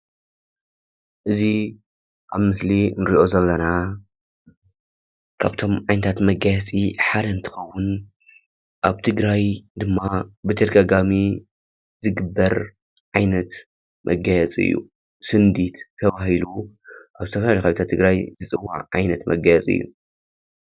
እዚ ኣብ ምስሊ ንርኦ ዘለና ካብቶም ዓይነታት መጋየፂ ሓደ እንትኸውን ኣብ ትግራይ ድማ ብተደጋጋሚ ዝግበር ዓይነት መጋየፂ እዩ። ስንዲድ ተባሂሉ ኣብ ዝተፈላለዩ ከባቢታት ትግራይ ዝፅዋዕ ዓይነት መጋየፂ እዩ።